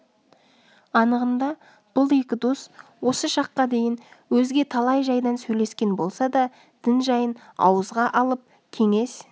анығында бұл екі дос осы шаққа дейін өзге талай жайдан сөйлескен болса да дін жайын ауызға алып кеңес